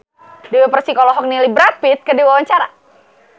Dewi Persik olohok ningali Brad Pitt keur diwawancara